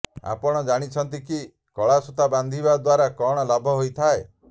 ଆପଣ ଜାଣନ୍ତି କି କଳା ସୂତା ବାନ୍ଧି ଦ୍ବାରା କଅଣ ଲାଭ ହେଇଥାଏ